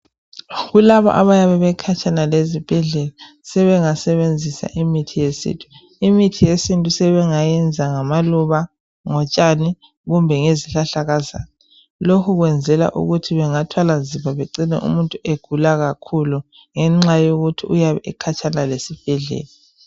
Kulaba abayabe bekhatshana esibhedlela sebengasebenzisa imithi yesintu. Imithi yesintu sebengayenza ngamaluba, ngotshani kumbe ngezihlahlakazana. Lokhu kwenzelwa ukuthi bengathwala nzima begcina umuntu egula kakhulu ngenxa yokuthi uyabe ekhatshana lesibhedlela. .